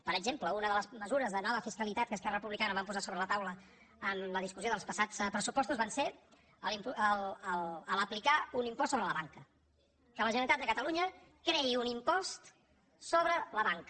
per exemple una de les mesures de nova fiscalitat que esquerra republicana vam posar sobre la taula en la discussió dels passats pressupostos va ser aplicar un impost sobre la banca que la generalitat de catalunya creï un impost sobre la banca